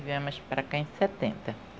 Viemos para cá em setenta.